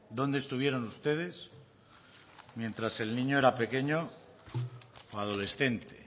dónde estuvieron ustedes mientras el niño era pequeño o adolescente